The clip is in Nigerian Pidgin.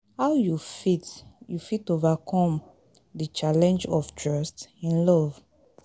how you fit you fit overcome di challenge of trust in love?